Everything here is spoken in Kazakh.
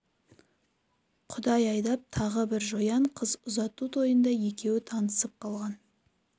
құдай айдап тағы бір жоян қыз ұзату тойында екеуі танысып қалған